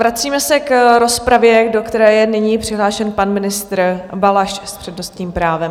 Vracíme se k rozpravě, do které je nyní přihlášen pan ministr Balaš s přednostním právem.